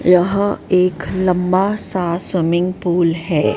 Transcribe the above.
यहां एक लंबा सा स्विमिंग पूल है।